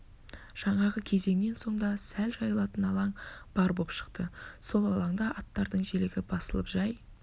жаңағы кезеңнен соң да сәл жайылатын алаң бар боп шықты сол алаңда аттардың желігі басылып жай